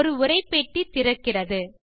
ஒரு உரை பெட்டி திறக்கிறது